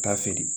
Taa feere